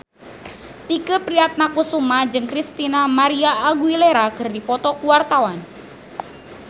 Tike Priatnakusuma jeung Christina María Aguilera keur dipoto ku wartawan